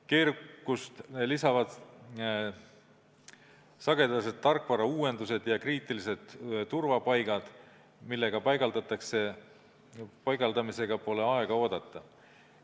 Keerukust lisavad sagedased tarkvarauuendused ja kriitilised turvapaigad, mille paigaldamisega pole aega oodata.